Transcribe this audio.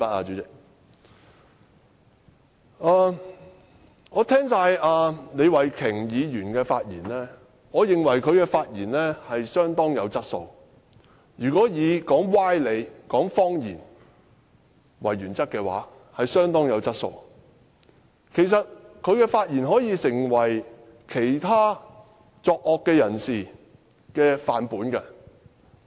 聽畢李慧琼議員的發言，我認為她的發言相當有質素——如果以說歪理和謊言為原則，她的發言相當有質素，甚至可以成為其他作惡之人的範本。